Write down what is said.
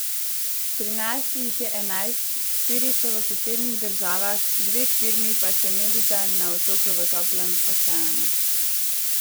Pri nas jih je enajst, štiri so v sosednjih državah, dve firmi pa se medita na otoku v toplem oceanu.